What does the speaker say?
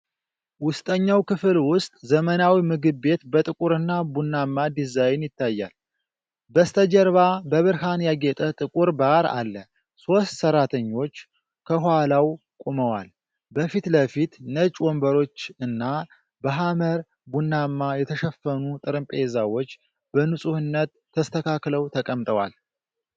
ውስጠኛው ክፍል ውስጥ ዘመናዊ ምግብ ቤት በጥቁርና ቡናማ ዲዛይን ይታያል። በስተጀርባ በብርሃን ያጌጠ ጥቁር ባር አለ፣ ሦስት ሰራተኞች ከኋላው ቆመዋል። በፊት ለፊት ነጭ ወንበሮች እና በሐመር ቡናማ የተሸፈኑ ጠረጴዛዎች በንጹህነት ተስተካክለው ተቀምጠዋል።